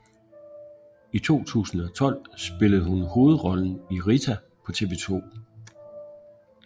I 2012 spillede hun hovedrollen i Rita på TV 2